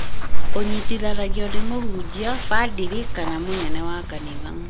ũnyitithanagio nĩ mũhunjia, badĩrĩ kana mũnene wa kanitha